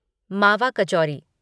मावा कचौरी